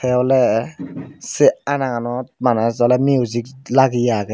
te ole say anaganot bana music lageye agey.